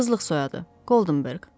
Qızlıq soyadı: Goldenberg.